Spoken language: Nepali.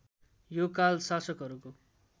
यो काल शासकहरूको